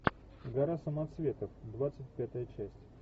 гора самоцветов двадцать пятая часть